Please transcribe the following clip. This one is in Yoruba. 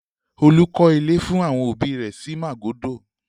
Olú klọ́ ilé fún àwọn òbí rẹ̀ sí Màgódò.